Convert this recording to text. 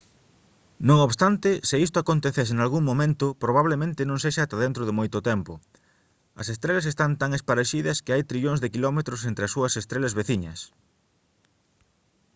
non obstante se isto acontecese nalgún momento probablemente non sexa ata dentro de moito tempo. as estrelas están tan esparexidas que hai trillóns de quilómetros entre as súas estrelas «veciñas»